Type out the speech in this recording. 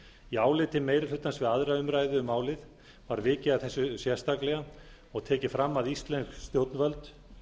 í áliti meiri hlutans við aðra umræðu um málið var vikið að þessu sérstaklega og tekið fram að íslensk stjórnvöld